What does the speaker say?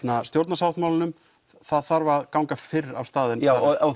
stjórnarsáttmálanum það þarf að ganga fyrr af stað já